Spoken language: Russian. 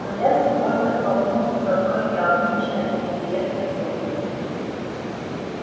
но я сегодня столкнулся с одной необычной и интересной трудностью